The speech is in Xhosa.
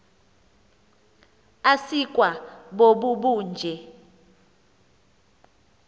asikwa bobu bunje